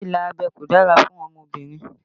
Ìlà abẹ́ kò dára fún ọmọbìnrin